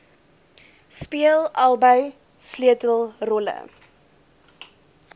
speel albei sleutelrolle